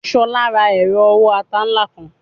Shola ra ero owo ata nla kan